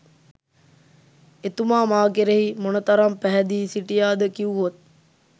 එතුමා මා කෙරෙහි මොනතරම් පැහැදී සිටියාද කිව්වොත්